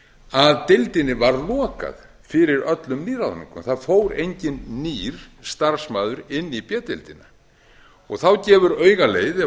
að deildinni var lokað fyrir öllum nýliðum það fór enginn nýr starfsmaður inn í b deildina og þá gefur auga leið